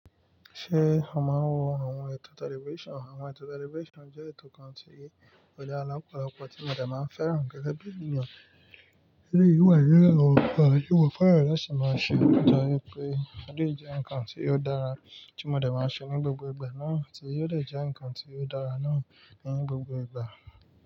Ṣé a máa ń wo àwọn ètò television? Àwọn ètò television je ètò kan tí ọ̀ dara lopolọ́pọ̀ tí mò de máa ń fẹ́ràn gẹ́gẹ́ bí ènìyàn. Èyí wà lórí òun kan ìwọ̀n fọ́nrà rẹ̀ ṣè máa ṣe, nípa wípé a lè jẹ́ ǹkan tí ó dára tí mò de máa ń ṣe ní gbogbo ìgbà náà, tí yóò lè jẹ́ ǹkan tí ó dára náà ní gbogbo ìgbà.